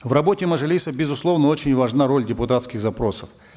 в работе мажилиса безусловно очень важна роль депутатских запросов